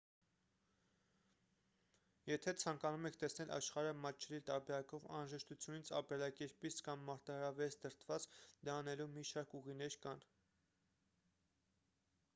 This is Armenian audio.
եթե ցանկանում եք տեսնել աշխարհը մատչելի տարբերակով անհրաժեշտությունից ապրելակերպից կամ մարտահրավերից դրդված դա անելու մի շարք ուղիներ կան